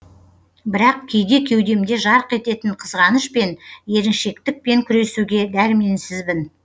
бірақ кейде кеудемде жарқ ететін қызғаныш пен еріншектікпен күресуге дәрменсізбін